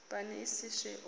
pani i si swe u